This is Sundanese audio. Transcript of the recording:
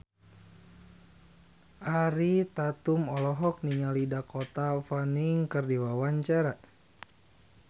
Ariel Tatum olohok ningali Dakota Fanning keur diwawancara